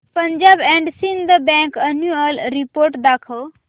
Punjab and Sind bank annual report दाखव